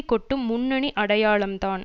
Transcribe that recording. கொட்டும் முன்னணி அடையாளம் தான்